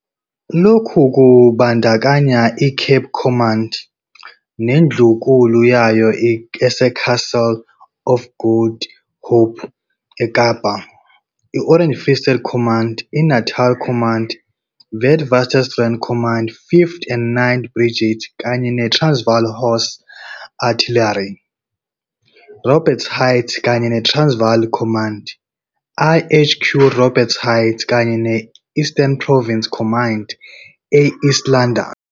Lokhu kubandakanya iCape Command, nendlunkulu yayo eseCastle of Good Hope, eKapa, i- Orange Free State Command, iNatal Command, iWitwatersrand Command, 5th and 9th Brigades kanye neTransvaal Horse Artillery, uRobert's Heights kanye neTransvaal Command, iHQ Robert's Heights, kanye ne-Eastern Province Command e- East London.